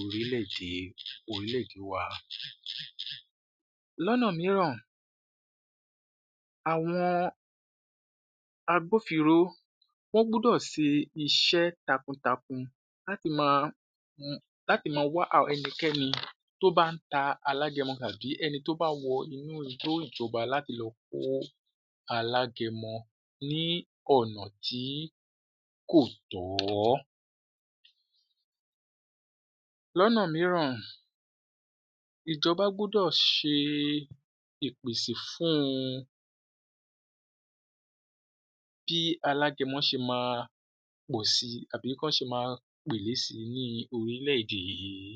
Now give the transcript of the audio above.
orílè-èdè, orílè-èdè wa. Lọnà mìíràn, àwọn agbófińro, wọ́n gbúdọ̀ ṣe iṣẹ́ takuntakun láti máa,m um láti máa wá ẹnikẹ́ni tó bá ń ta alágẹmọ tàbí ẹni tó bá wọ inú igbó ìjọba láti lọ kó alágẹmọ ní ọ̀nà tí kò tọ́. Lọnà mìíràn, ìjọba gbúdọ̀ ṣe ìpèsè fún un bí alágẹmọ ṣe máa pọ̀ síi àbí kán ṣe máa pèlé síi ní orílẹ̀-èdè yìí.